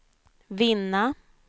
vinna